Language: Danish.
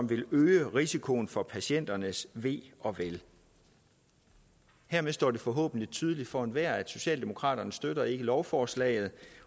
vil øge risikoen for patienternes ve og vel hermed står det forhåbentlig tydeligt for enhver at socialdemokraterne ikke støtter lovforslaget